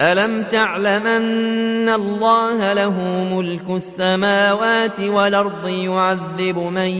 أَلَمْ تَعْلَمْ أَنَّ اللَّهَ لَهُ مُلْكُ السَّمَاوَاتِ وَالْأَرْضِ يُعَذِّبُ مَن